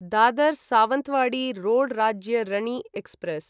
Dadar Sawantwadi road Rajya Rani express